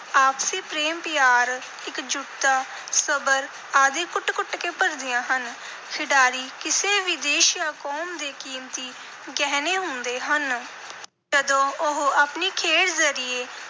ਆਪਸੀ ਪ੍ਰੇਮ ਪਿਆਰ, ਇਕਜੁੱਟਤਾ, ਸਬਰ ਆਦਿ ਕੁੱਟ-ਕੁੱਟ ਕੇ ਭਰਦੀਆਂ ਹਨ। ਖਿਡਾਰੀ ਕਿਸੇ ਵੀ ਦੇਸ਼ ਜਾਂ ਕੌਮ ਦੇ ਕੀਮਤੀ ਗਹਿਣੇ ਹੁੰਦੇ ਹਨ। ਜਦੋਂ ਉਹ ਆਪਣੀ ਖੇਡ ਜ਼ਰੀਏ